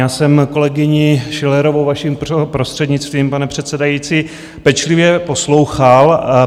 Já jsem kolegyni Schillerovou, vaším prostřednictvím, pane předsedající, pečlivě poslouchal.